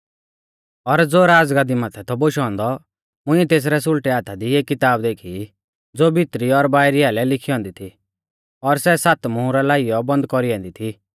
और ज़ो राज़गाद्दी माथै थौ बोशौ औन्दौ मुंइऐ तेसरै सुल़टै हाथा दी एक किताब देखी ज़ो भितरी और बाइरी आइलै लिखी औन्दी थी और सै सात मुहरा लाइयौ बन्द कौरी ऐन्दी थी